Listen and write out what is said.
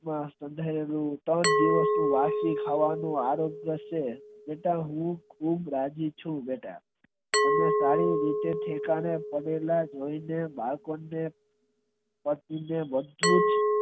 ત્રણ દિવસ નું વાસી ખાવાનું આરોપી છે છતાં હું ખાવા રાજી છું બેટા અને તારી રીતે ટેકા ને પાડેલા જોય ને મજબૂત